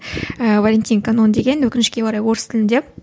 ыыы валентин канон деген өкінішкі орай орыс тілінде